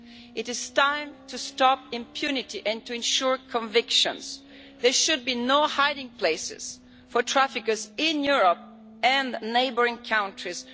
It is time to stop impunity and to ensure convictions. There should be no hiding places for traffickers in Europe and neighbouring countries.